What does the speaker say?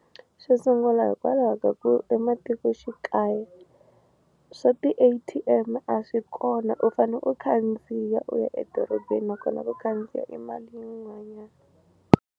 Xo sungula hikwalaho ka ku ematikoxikaya swa ti-A_T_M a swi kona u fane u khandziya u ya edorobeni nakona ku khandziya i mali yin'wanyani.